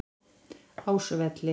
Ásvelli